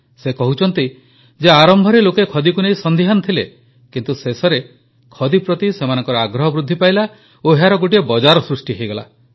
ସେ କହୁଛନ୍ତି ଯେ ଆରମ୍ଭରେ ଲୋକେ ଖଦୀକୁ ନେଇ ସନ୍ଦିହାନ ଥିଲେ କିନ୍ତୁ ଶେଷରେ ଖଦୀ ପ୍ରତି ସେମାନଙ୍କ ଆଗ୍ରହ ବୃଦ୍ଧି ପାଇଲା ଓ ଏହାର ଗୋଟିଏ ବଜାର ସୃଷ୍ଟି ହୋଇଗଲା